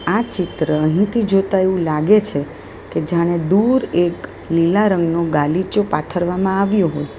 આ ચિત્ર અહીંથી જોતા એવું લાગે છે કે જાણે દૂર એક લીલા રંગનું ગાલીચો પાથરવામાં આવ્યો હોય.